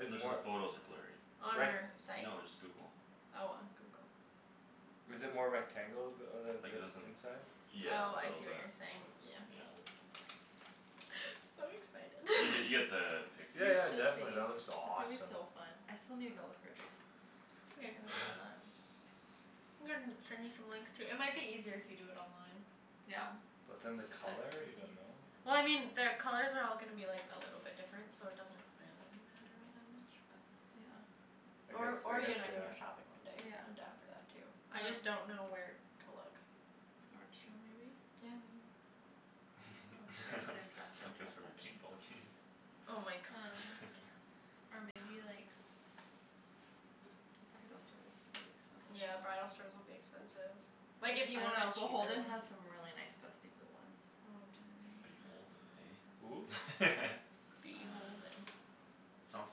It's Just the more, photos are blurry. On like our site? No, just Google. Oh, on Google. Is it more rectangle? The uh Like the, the it isn't, inside? yeah, Oh, a I little see what bit. you're saying. Oh, Yeah. it's So You get, you get excited. the You picture Yeah, yeah, though. should definitely be. that looks It's gonna be awesome. so fun. I still need to go look for a dress. It's okay. I'm gonna send you some links too. It might be eaiser if you do it online. Yeah. But then the But color, you don't know? Well, I mean their colors are all gonna be like a little different so it doesn't really matter all that much, but Yeah. I guess, Or, I or you guess and I they can go are. shopping one day. Yeah, I'm I'm down down for for that that too. too. I just don't know where to look. Nordstrom maybe? Yeah, maybe. Um there's a dress, a You guys dress for another section. paintball game? Oh my gosh. Or maybe like Bridal store, that's gonna be expensive Yeah, though. bridal stores will be expensive. Like, if you Oh, want a no, cheaper Beholden one. has some really nice dusty blue ones. Oh, do they? Beholden, Who? hey? Uh Beholden. Sounds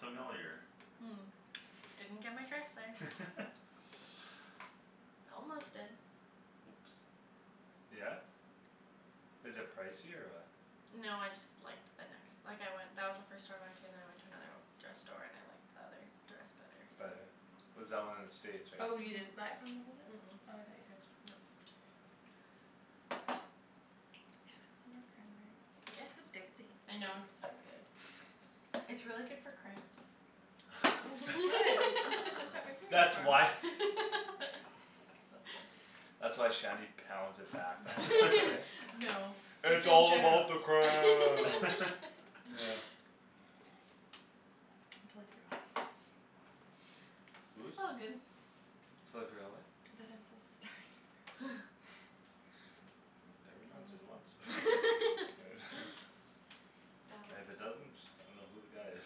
familiar. Didn't get my dress there. Almost did. Oops. Yeah? Is it pricey or what? No, I just liked the nex- like, I went, that was the first store I went To and then I went to another dress store and I liked The other dress better, so. Better? Was that one in the States, right? Oh, you Mhm. didn't buy it from Beholden? Mm- mm. Oh, I thought you did. No. Can I have some more Yes. cranberry? It's addicting. I know, it's so good. It's really good for cramps. Oh I'm supposed to start my Girls. period That's tomorrow. why. That's cool. That's why Shanny pounds it back then, eh? No. That's "It's what all I'm about the trying cramps!" to I'm totally forgot I was supposed to Whose? It's all good. Totally forgot, what? That I'm supposed to start tomorrow. Never Thomas's mind, And if it That was doesn't, I dunno who the guy is.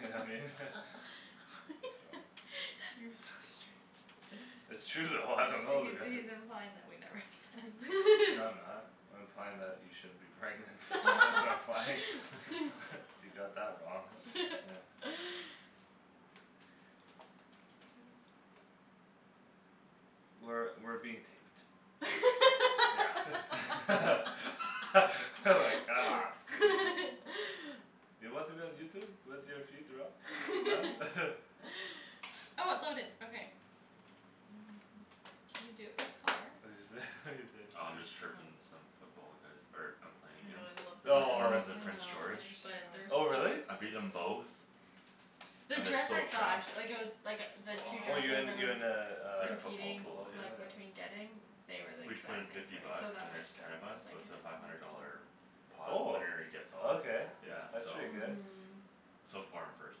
You know what I mean? Oh. You're so strange. It's true though, I dunno who He's, the guy is. he's implying that we never have se- No, I'm not. I'm implying that you shouldn't be pregnant. That's what I'm implying. You got that wrong. Yeah. I guess. We're, we're being taped. Yeah like, come on. You want to be on Youtube? With your feet rub? Huh? Can you do it by color? What'd you say? What'd you say? Oh, I'm just chirping some football guys er I'm playing I know, against. I love The their Oh. foreman's in dresses so Prince George. much but they're Oh so really? I've beaten expensive. them both. The And they're dress so I saw trashed. actu- like, it was Like, the two Oh you dresses I in, you was in uh, In a a football football Competing, pool, pool? yeah. like, Yeah. between getting They were, like, We each put in exact same fifty price so bucks that and was there's ten good. of us Like, so I it's a didn't five have hundred to worry dollar about that. Pot Oh. winner-gets-all, That Okay, yeah, that's one's so. pretty fun though. good. Mhm. So far I'm first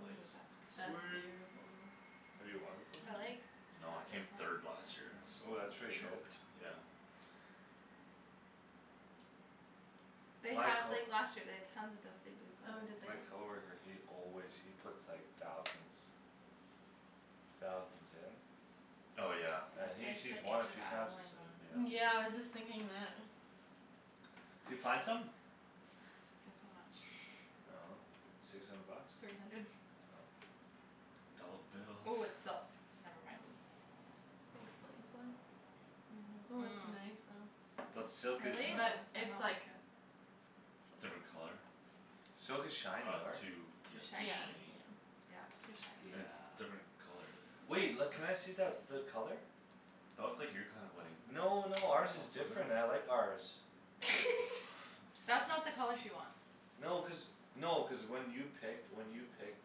place. that's That's pretty. Sweet. beautiful. Have you won before? I like No, I that came this third last year Oh, one that's has pretty good. choked, yeah. They My had, co- like, last year they'd tons of dusty blue Oh, did they? My color coworker, he always, he puts, like, thousands Thousands in. Oh, yeah. And That's he's, like he's the won a Age of few times, Adeline he said. one. Yeah. Yeah, I was just thinking that. D'you find something? Guess how much. I dunno, six hundred bucks? Three hundred. Oh. Dolla Oh, bills. it's silk. Oh, Never mind. that explains why. Ooh, it's nice though. But silk is Really? But nice. I it's don't like like it. So Different pricey. color? Silk is shiny, Oh, it's right? too, Too yeah, too Yeah, shiny. shiny. yeah. Yeah, it's too Yeah. And it's shiny. different color, the Wait. L- Yeah. can I see that, the color? That looks like your kind of wedding. No, no, ours is different, I like ours. That's not the color she wants. No, cuz, no, cuz when you picked, when you picked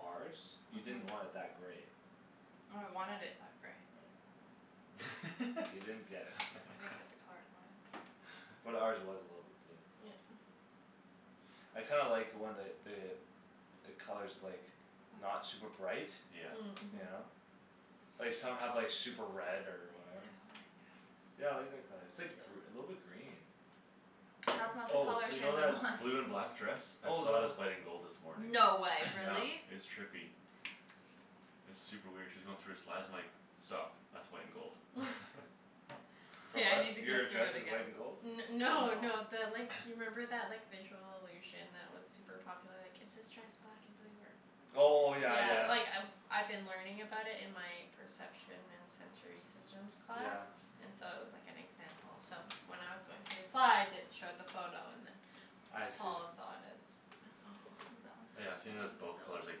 ours You didn't want it that grey. No, I wanted it that grey. Oh. You didn't get it. I didn't get the color I wanted. But ours was a little bit blue. Yeah. I kinda like when the, the The color's, like, not That's super bright. Yeah. Mm. You Mhm. know? Like some have, like, super red or I don't whatever. like it. Yeah, I like that color. It's Yeah. like gr- a little bit green. That's not the Oh, color so you know Shandryn that wants. blue and black dress? I Oh, then saw it wha- as white and gold this morning. No way, Yeah, really? it's trippy. It's super weird. She was going through her slides, I'm like "Stop, that's white and gold." For K, I what? need to go Your through dress it is again. white and gold? N- no, no, No. the like You remember that, like, visual illusion That was super popular, like, is this dress black and blue or Oh, yeah, Yeah, yeah. like, Yeah. I I've been learning about it in my Perception and sensory systems class Yeah. And so it was, like, an example so When I was going through the slides it showed the photo and then I see. Paul saw it as That one's Yeah, kinda I've seen Fall, it as it's so both colors, like,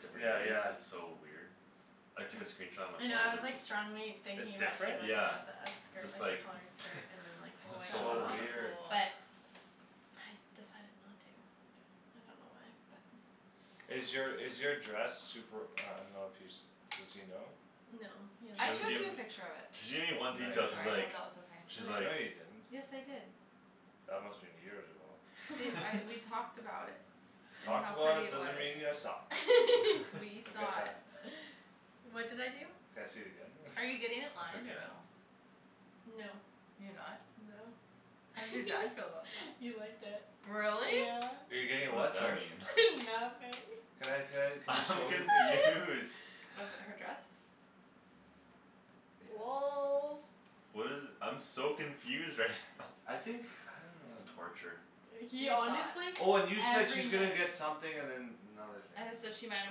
different Yeah, days. yeah. It's so weird. I took a Hmm. screenshot on my I know phone I was, and it's like, just strongly thinking It's about doing different? like one Yeah. of the It's skirt, just like a like, colored skirt and then, like "What's White That going So would on?" tops be weird. cool. but I decided not to. I don't know why, but Is your, is your dress Super, I dunno if he's, does he know? No, he She I hasn't doesn't showed give you seen a it. picture of it. She gave me one No, detail, Sorry, you she's I didn't. hope like that was okay. She's like No, you Like, didn't.. yes, I did. That must've been years ago. Babe, I, we talked about it. And Talked how about pretty it it was. doesn't mean you saw. We I'll get saw that. it. What did I do? Can I see it again then? Are you getting it I lined or forget. no? No. You're not? No. How did your dad feel about that? He liked it. Really? Yeah. You're getting it What's what, that sorry? mean? Nothing. Can I, can I, can you I'm show me the picture? confused. With her dress? Yes. Lolz. What is it, I'm so confused right now. I think, I don't This is know. torture. He He saw honestly it. Oh, and you said every she's gonna night get something and then another thing I had to said she might or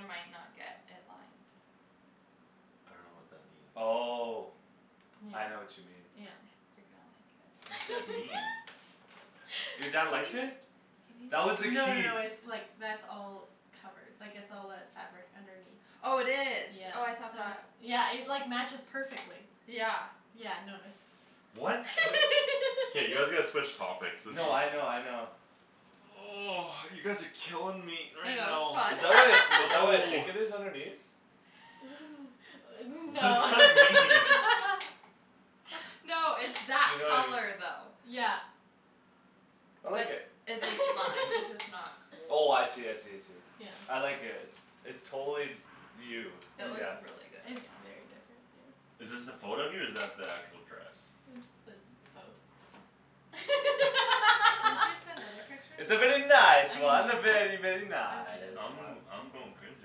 might not get it lined. I dunno what that means. Oh, Yeah, Yeah, I know what you mean. yeah. yeah. You're gonna like it. What does that mean? Your dad liked it? That was No the no key. no, it's, like, that's all Covered. Like, it's all that fabric underneath. Oh, it is. Yeah, Oh, I thought so it's, that yeah, it, like, matches perfectly. Yeah. Yeah, no, it's What? K, you guys gotta switch topics. This is No, I know, I know. You guys are killing me I right know, it's now. Is fun. that what I, is that what I No. think it is underneath? What does No. that This mean? No, it's that You know i- color though. Yeah. I like But it. it, it's lime, it's just not Oh, I see, I see, I see. Yeah. I like it. It's, it's totally You. No, It it's looks Yeah. just, really good on it's you. very different, yeah. Is this the photo of you or is that the actual dress? It's the, both. Didn't you send other pictures? I It's a very I nice control one. can A very, very, In a nice nice I'm, one. way. I'm going crazy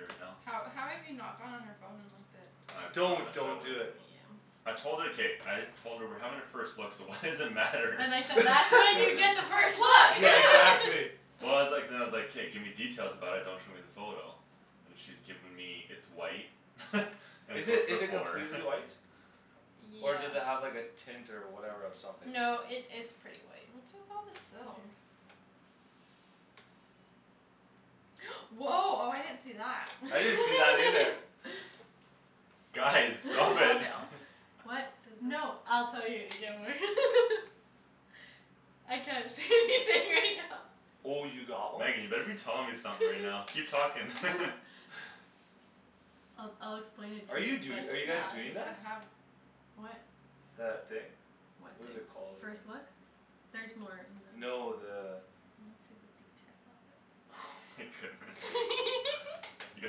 right now. How, how have you not gone on her phone and looked at I Don't, promised her I don't do Yeah. it. wouldn't. Yeah. I told her. K, I Told her we're having a first look so why does it matter? And I said, "That's when you get the first Yeah, look!" exactly. Well, I was like, then I was like, "K, give me details about it; don't show me the photo." And she's given me, "It's white." "And Is it's it, a" is it completely white? Yeah. Or does it have, like, a tint or whatever or something? No, it, it's pretty white. What's with all the silk? Mhm. Woah, oh, I didn't see that. I didn't see that either. Guys, Does it stop fall it. down? What, Does it no, I'll tell you Oh, you got one? Megan, you better be telling me something right now. Keep talking. I'll, I'll explain it Are to you you but do- are you guys doing that? What? That thing? What What thing? is it called, I First dunno. look? Theres more. And then No, the I wanna see the detail of it. Oh my goodness. You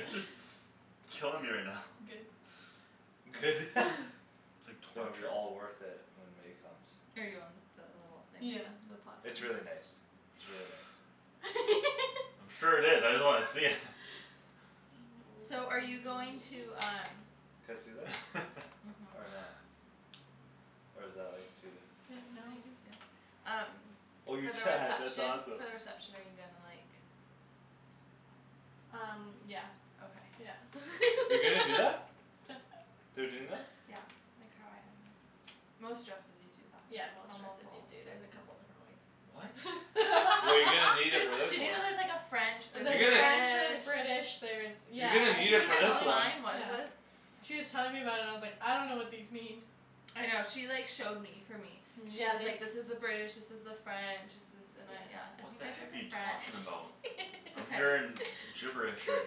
guys are s- killing me right now. Good. Good. It's like Gonna be torture. all worth it when May comes. Are you on the little thing? Yeah, the pot thing. It's really nice. It's really nice. Sure it is. I just wanna see it. I know So we're are you being very going mean. to um Can I see that? Or Mhm. not? Or is that, like, too Yeah, no. No, you can see it. Um Oh your For the dad, that's reception, for awesome. the reception are you gonna, like Um yeah, Okay. yeah. You're gonna do that? They're doing that? Yeah, like how I had mine. Most dresses you do that. Yeah, most Almost dresses do, all the dude; there's a dresses couple different What? ways. Well, you're gonna need it There's, for this did you one. know there's like a French You're There's a gonna French, There's there's British British, there's You're Yeah, gonna uh need she She it was was for this telling telling, one. mine was, yeah. what is She was telling me about it and I was like, "I dunno what these mean." I know. She like showed me for me. Yeah, Yeah, and she's they like, "This is the British, this is the French." "This is" and I, Yeah. yeah, I What think the I did heck are the you French. talking about? It's I'm okay. hearing gibberish right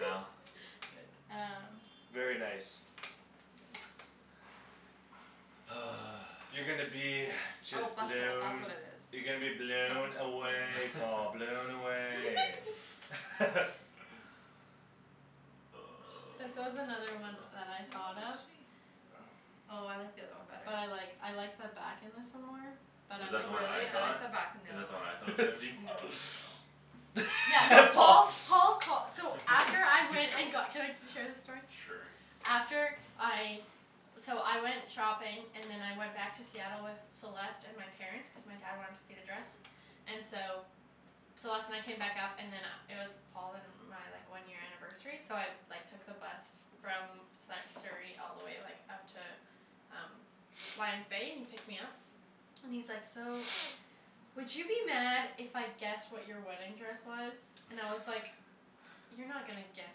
now. Um Very nice. Thanks. You're gonna be Oh just bustle, that's what blown. it You're gonna be is. blown Bustle. away, Paul, blown away. This was another one So that I what thought was of. she? Oh I like the other one better. But I like, I like the back in this one more. But Is I that the one I Really? I thought? like like the the back on the Is other that the one I one. thought it was gonna be? No. Oh. Yeah, no, Paul Paul, Paul call- so After I He went and got, ca- can I share this story? Sure. After I So I went shopping And then I went back to Seattle with Celeste and my Parents, cuz my dad wanted to see the dress And so Celeste and I came back up and then uh it was Paul and uh my, like, one year anniversary so I Like, took the bus from Sa- Surrey all the way, like, up to Um Lion's Bay, and he picked me up And he's like, "So Would you be mad if I guessed what your wedding dress was?" And I was like "You're not gonna guess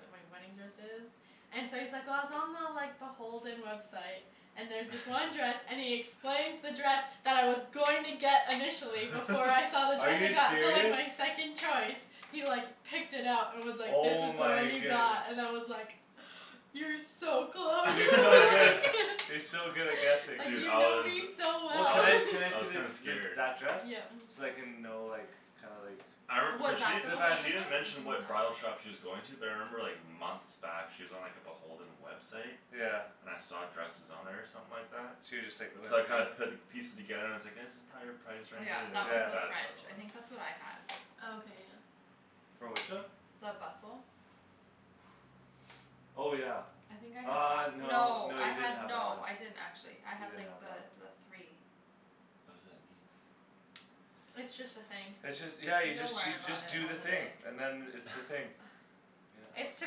what my wedding dress is." And so he's like, "Well, I was on the, like, the Beholden website." "And there was this one dress," and he explains the dress That I was going to get initially before I saw the Are dress I you got, so, like, serious? my second choice. He, like, picked it up and was like, "This Oh is the one my you goodne- got" and I was like "You're so close." You're so good at, you're so good at guessing. Like, Dude, you I know was, me so Well, I can well. I, was, can I I see was the, kinda the, scared. that dress? Yeah. So I can know, like, kinda like I re- cuz she, she didn't mention Mm- what bridal mm. Oh. shop she was going to. But I remember, like, months back she was on, like, the Beholden website. Yeah. And I saw dresses on there or something like that So you just, like, went So I into kinda there? put pieces together and I was like "That's prolly our price Oh, range." yeah, And I that was was Yeah. like, the "That's French. probably the I one." think that's what I had. Oh, okay, yeah. For which one? The bustle. Oh, yeah. I think I had Uh, that. no, No, no, I you didn't had have that one. no I didn't actually. I You had, didn't like, have that one. the, the three. What does that mean? It's just a thing. It's just, yeah, you You'll just, learn you about just it do the on the thing day. and then it's the thing. Yep. It's to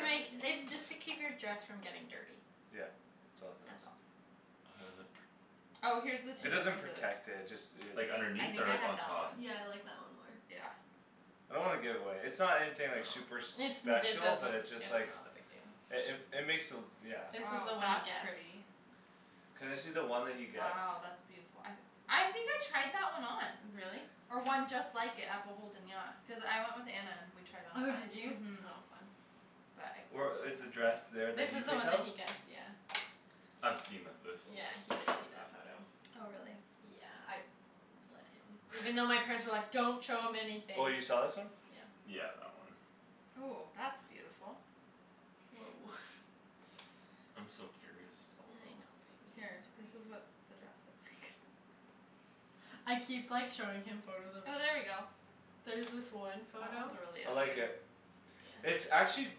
make, it's just to keep your dress from getting dirty. Yeah, it's all it does. That's all. How does it pr- Oh, here's the two It doesn't differences. protect it. Just it Like, I underneath think or I like, had on that one. top? Yeah, I like that one more. Yeah. I don't wanna give it away. It's not anything, like, No. super It's, it special but doesn't, it's just it's like not a big deal. It, it, it makes the, yeah. This was the Oh, one he that's guessed. pretty. Can I see the one that he guessed? Wow, that's beautiful. I I think I tried that one on. Really? Or one just like it at Beholden, yeah. Cuz I went with Anna and we tried on a Oh, bunch. did you? Mhm. Oh fun. But I Or couldn't fit is the in dress that one. there This that you is the picked one that out? he guessed, yeah. I've seen the, this one; Yeah, he she's did shown see me that that photo. one. Oh, really? Yeah, I let him. Even though my parents were like, "Don't show him anything." Oh, you saw this one? Yeah. Yeah, that one. Ooh, that's beautiful. Woah. I'm so curious still I though. know, baby, Here, I'm this is sorry. what the dress looks like. I keep, like, showing him photos of Oh, there we go. There's this one That one's photo really I like pretty. it. It's actually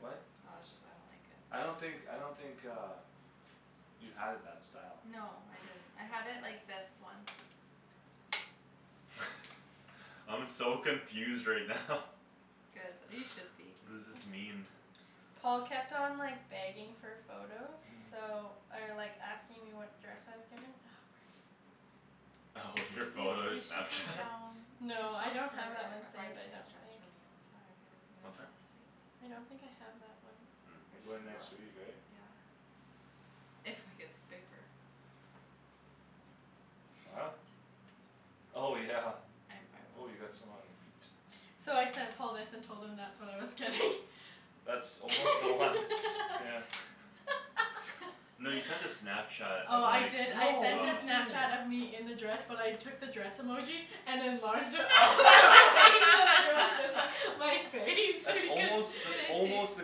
What? Oh, it just, I don't think it I don't think, I don't think uh You had it that style. No, I didn't. I had it like this one. I'm so confused right now. Good, you should be. What does this mean? Paul kept on, like, begging for photos so Or, like, asking me what dress I was getting. Oh, your Babe, photo we should go Snapchat? down We should No, I look don't have for that one a saved, I bridesmaid's don't dress think. for me on Saturday when we go down What's to that? the States. I don't think I have that one. Or We're going next week, just look. right? Yeah. If I get the paper. Huh? Oh, yeah. I'm, I Oh, will. you got some on your feet. So I sent Paul this and told him that's what I was getting. That's almost the one, yeah. No, you sent a Snapchat Oh, of, I like, did, I No, what're sent uh you a Snapchat of doing? me in the dress but I took the dress emoji And enlarged it all the way so that it was Just like my face so That's he can't almost, Can that's I almost see? the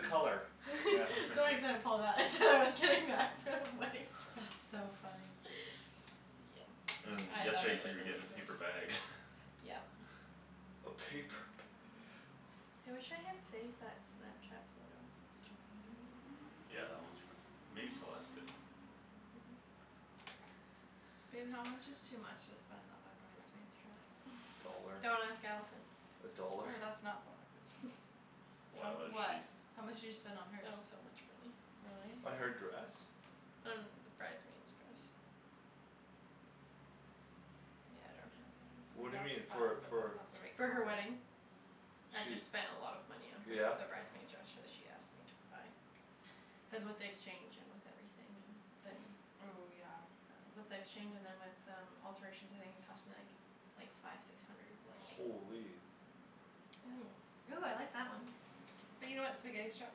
color. Yeah. So I sent Paul that and said I was getting that. So funny. That's so funny. Yeah, And I thought yesterday I you said was you a were getting a loser. paper bag. Yep. Okay, p- I wish I had saved that Snapchat photo. That's too bad. Yeah, that one's for, maybe Celeste did. Babe, how much is too much to spend on a bridesmaid's dress? A dollar. Don't ask Allison. A dollar. Oh, that's not, don't wanna click on. Why, How, what is she what? How much did you spend on It hers? was so much money. Really? Uh, her dress? On the bridesmaid's dress. Yeah, I don't have it. Ooh, What do you that's mean? For, fun but for that's not the right For her color. wedding. I She, just spent a lot of money on her, yeah? the bridesmaid dress so she asked me to buy. Cuz with the exchange and with everything and then Ooh, yeah. With the exchange and then with um alterations I think it cost me, like Like, five six hundred, like Holy. Ooh. Ooh, I like that one. But you know what, spaghetti strap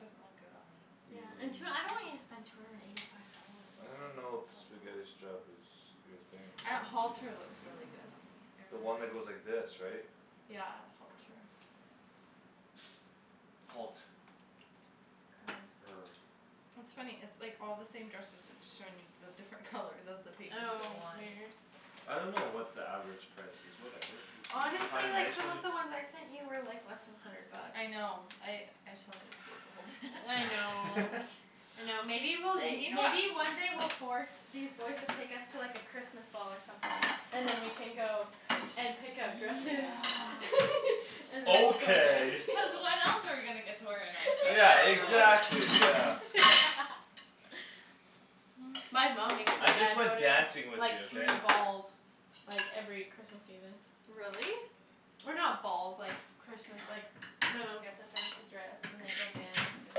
doesn't look good on me. Yeah, and tw- I don't want you to spend two hundred and eighty five dollars. I don't It's know if spaghetti a lot. strap is your thing. I, halter looks really good on me. I The really one that like goes like this, right? Yeah, halter. Halt. Er Er. It's funny. It's like all the same dresses. It's just showing me the different colors as the pages Oh go on. weird. I don't know what the average price is, whatever. You, you, you find Honestly, a like, nice some one, you of the ones I sent you were, like, less than hundred bucks. I know I, I saw it, it's Beholden. I know. I know, maybe we'll, They, you know what maybe one day we'll force These boys to take us to, like, a Christmas ball or something. And then we can go and Easy. pick out dresses Yeah. And then we'll go Okay. dance. Cuz when else are we gonna get to wear a nice dress Yeah, outside Exactly. our wedding? exactly, yeah. My mom makes my I just dad go like to, dancing like, with you, like, okay? three balls. Like, every Christmas evening. Really? Or not balls, like, Christmas, like My mom gets a fancy dress and they go dance and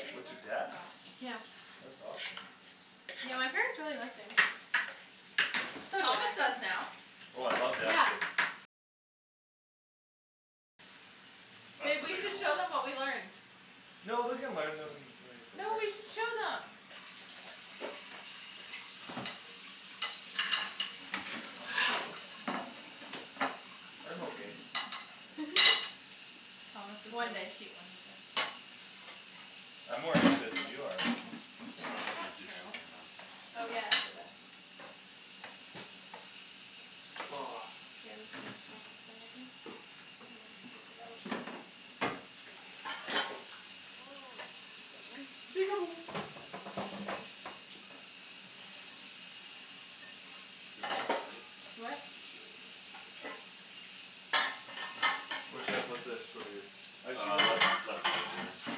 Babe, What, your that's dad? enough. Yeah. That's awesome. Yeah, my parents really like dancing. So do Thomas I. does now. Oh, I love Yeah. dancing. That's Babe, we should debatable. show them what we learned. No, we can learn them, like, No, later. we should show them. I'm okay. Thomas is One really day. cute when he dances. I'm more into it than you are. I'm gonna That's put not these dishes true. away and then just Oh, yeah, I'll do that. And, like, take it out. Get rid of that plate. What? Just get rid of that plate there. Where should I put this for you? I should Uh get left, a left side there. K.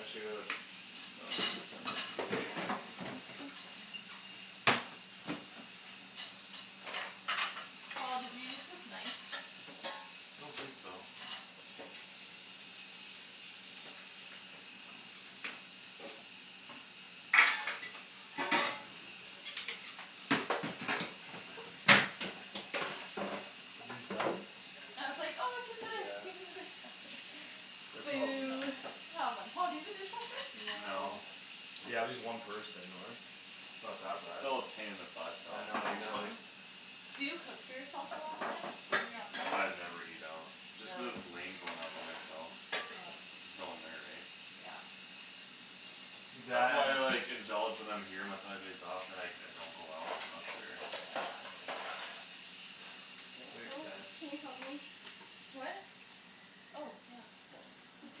I should get a Paul, did you use this knife? I don't think so. Okay. Are you done? I was like, "Oh, we should put our Yeah. thing in the dishwasher." They're probably Boo. Boo. Come on. Paul, do you have a dishwasher? No. No. Yeah, just one person though, right? Not that bad. Still a pain in the butt though. I know, you gotta, like Yeah. Do you cook for yourself a lot then? When you're up there? I never eat out. Just cuz it's Really? lame going out by myself. Yeah. There's no one there, eh? Yeah. That's That why and I, like, indulge when I'm here my five days off and, like, I don't go out when I'm up there. Yeah. Yeah, Makes oh, sense. can you help me? What? Oh, yeah. Thanks.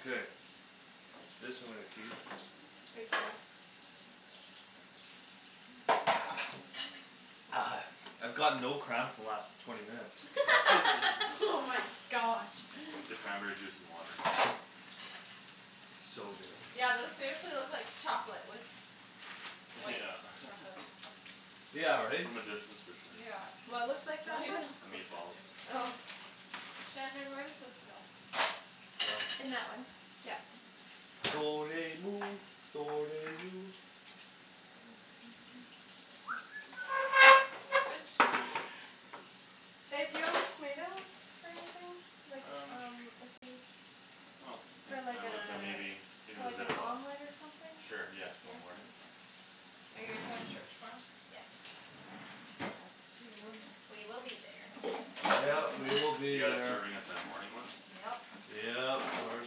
Okay. This I'm gonna keep. Take four. I've got no cramps the last twenty minutes. Oh my gosh. The cranberry juice and water. So good. Yeah, those seriously look like chocolate with White Yeah. chocolate Yeah, right? From a distance for sure. Yeah. What looks like Well, chocolate? even it The cooks like meatballs. you. Oh. Shandryn, where does this go? In that one, yeah. Garbage? Babe, do you want these tomatoes for anything? Like, Um. um if we I don't think For like I a, would but maybe if for it was like an Ziploc. omelet or something? Sure, yeah, Yeah? Okay. tomorrow morning? Are you guys going to church tomorrow? Yes. Us too. We will be there. Yep, we will be You guys there. serving at the morning one? Yep. Yep, we're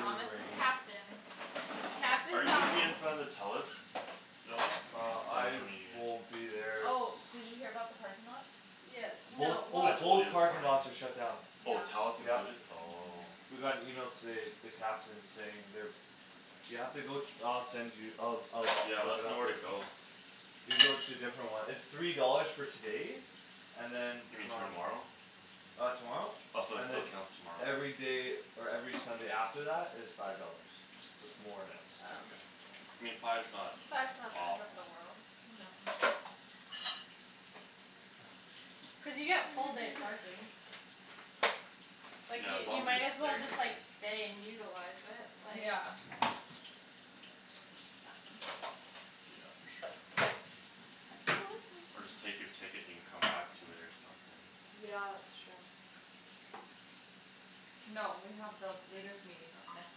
Thomas is captain. Captain Are you gonna be Thomas in front of the Telus building? Uh Or which I one are you will in? be there s- Oh, did you hear about the parking lots? Yeah, Both, no, oh, I well told you both this parking morning. lots are shut down. Oh, Yeah. Telus Yep. included? Oh. Mhm. We got an email today, the captain saying they're You have to go, I'll send you. I'll, I'll Yeah, let look it us know up where for to you. go. You go to a different one. It's three dollars for today. And then You mean from tomorrow? Uh tomorrow? Oh, so it, And so it then counts tomorrow. Everyday or every Sunday after that is Five dollars. So it's more now. Oh. Okay. I mean, five's not Five's not the end of the awful. world. No. Cuz you get full day parking. Like Yeah, you, as long you as you're might as well staying just, like, there. stay and utilize it, like Yeah. Yeah, for sure. Or just take your ticket and you can come back to it or something. Yeah, it's true. No, we have the leaders' meeting, uh, next